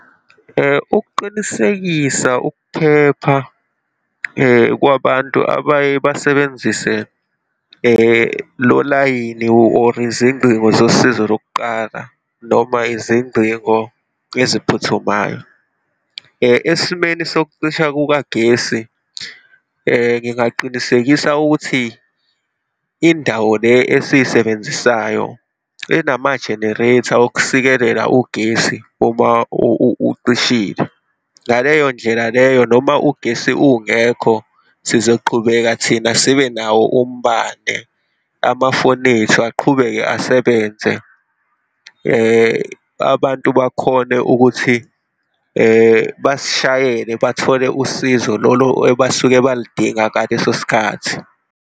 Ukuqinisekisa ukuphepha kwabantu abaye basebenzise lo layini or izingcingo zosizo lokuqala noma izingcingo eziphuthumayo. Esimeni sokucisha kukagesi ngingaqinisekisa ukuthi indawo le esiyisebenzisayo enama-generator okusikelela ugesi uma ucishile. Ngaleyo ndlela leyo noma ugesi ungekho sizoqhubeka thina sibenawo umbane, amafoni ethu aqhubeke asebenze, abantu bakhone ukuthi basishayela bathole usizo lolo ebasuke baludinga ngaleso sikhathi.